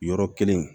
Yɔrɔ kelen